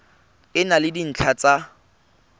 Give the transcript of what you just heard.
e na le dintlha tsa